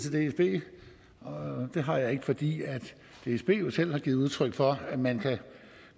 til dsb og det har jeg ikke fordi dsb jo selv har givet udtryk for at man kan